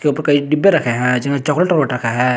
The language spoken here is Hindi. इन पे कई डिब्बे रखे हैं जिन पे चॉकलेट ओकलेट रखा है।